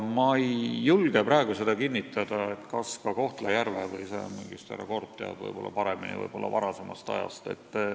Ma ei julge praegu seda kinnitada, kas ka Kohtla-Järve, võib-olla härra Korb teab paremini, või oli see varasemal ajal.